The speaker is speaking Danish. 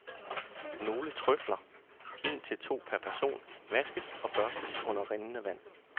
Nogle trøfler, en til to per person, vaskes og børstes under rindende vand.